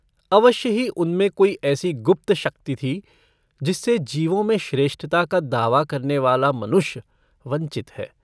अवश्य ही उनमें कोई ऐसी गुप्त शक्ति थी जिससे जीवों में श्रेष्ठता का दावा करनेवाला मनुष्य वंचित है।